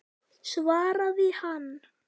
svaraði hann.